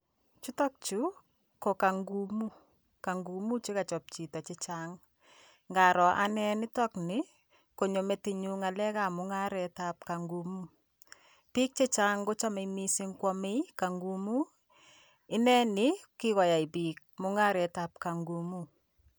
Chutokchu ko kangumuu, kangumuu che kachop chito che chang, ngaro ane nitokni, konyo metinyu ngalekab mungaretab kangumuu, piik che chang kochome mising kwamei kangumuu, ineni kikoyai piik mungaretab kangumuu.